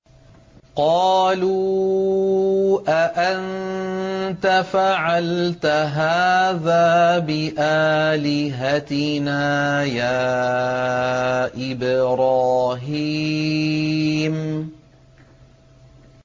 قَالُوا أَأَنتَ فَعَلْتَ هَٰذَا بِآلِهَتِنَا يَا إِبْرَاهِيمُ